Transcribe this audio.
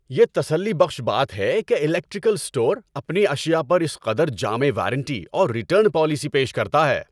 یہ تسلی بخش بات ہے کہ الیکٹریکل اسٹور اپنی اشیاء پر اس قدر جامع وارنٹی اور ریٹرن پالیسی پیش کرتا ہے۔